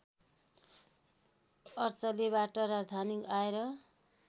अर्चलेबाट राजधानी आएर